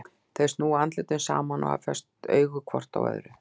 Þau snúa andlitum saman og hafa fest augun hvort á öðru.